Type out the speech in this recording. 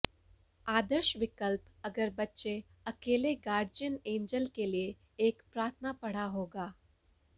आदर्श विकल्प अगर बच्चे अकेले गार्जियन एंजेल के लिए एक प्रार्थना पढ़ा होगा